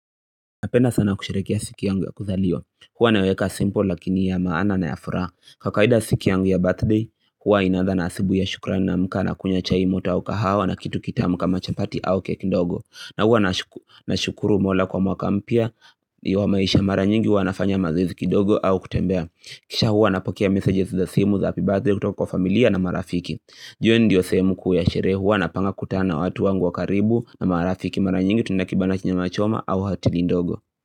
Napenda sana kusherehekea siku yangu ya kuzaliwa. Huwa naweka simple lakini ya maana na ya furaha. Kwakawaida siki yangu ya birthday Huwa inaaza na asubui ya shukrani naamka na kunywa chai moto au kahawa na kitu kitamu kama chapati au keki ndogo na huwa na shukuru Mola kwa mwaka mpya Iwa maisha mara nyingi huwa nafanya mazoezi kindogo au kutembea, Kisha huwa na pokia messages za simu za happy birthday kutoka kwa familia na marafiki, ju hiyo ndiyo semu kuu yasherehe huwa napanga kukutana na watu wangu wa karibu na marafiki mara nyingi tunakibana chinye machoma au hatili ndogo.